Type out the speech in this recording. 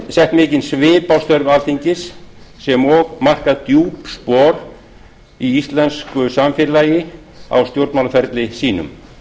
sett mikinn svip á störf alþingis sem og markað djúp spor í íslensku samfélagi á stjórnmálaferli sínum